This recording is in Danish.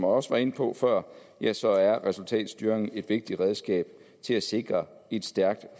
også var inde på før ja så er resultatstyring et vigtigt redskab til at sikre et stærkt